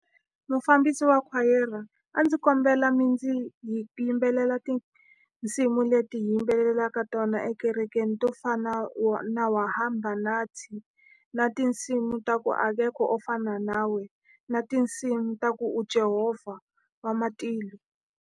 Mufambisi wa khwayere, a ndzi kombela mi ndzi hi ti yimbelela tinsimu leti hi yimbelelaka tona ekerekeni, to fana wa na wa hamba nathi. Na tinsimu ta ku hakekho wo fana nawe, na tinsimu ta ku u Jehovha wa matilo.